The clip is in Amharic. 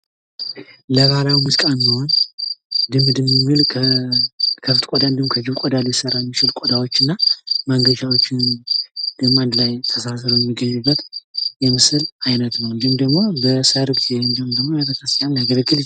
ለባህላዊ ሙዚቃ የሚሆን ድም ድም የሚል ከከብት ቆዳ እንዲሁም ከጅብ ቆዳ ሊሰራ የሚችል ቆዳዎች እና መንገቻዎችን ደሞ አንድ ላይ ተዛዝነው የሚገኙበት የምስል አይነት ነው። እንዲሁም ደግሞ በሰርግ እንዲሁም ደግሞ ለቤተክርስቲያን ሊያገለግል ይችላል።